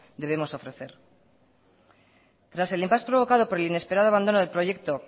debemos ofrecer tras el impás provocado por el inesperado abandono del proyecto